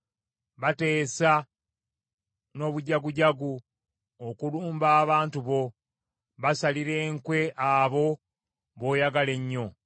Bateesa n’obujagujagu okulumba abantu bo; basalira enkwe abo b’oyagala ennyo.